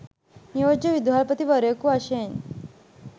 නියෝජ්‍ය විදුහල්පති වරයකු වශයෙන්